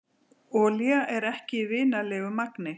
Olía ekki í vinnanlegu magni